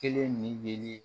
Kelen nin de